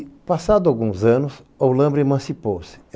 E passados alguns anos, Olâmbra emancipou-se.